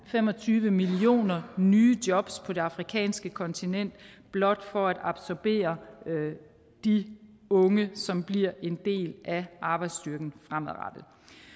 fem og tyve millioner nye jobs på det afrikanske kontinent blot for at absorbere de unge som bliver en del af arbejdsstyrken fremadrettet